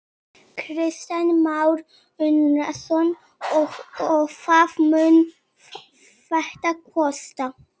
Kristján Már Unnarsson: Og hvað mun þetta kosta?